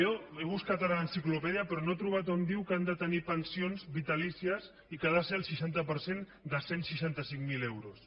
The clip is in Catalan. jo he buscat ara a l’enciclopèdia però no he trobat on diu que han de tenir pensions vitalícies i que ha de ser el seixanta per cent de cent i seixanta cinc mil euros